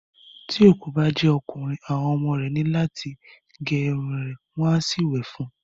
Tí òkú bá jẹ́ ọkùnrin, àwọn ọmọ ní láti gé irun rẹ̀ kí wọ́n sì wẹ̀ fún un.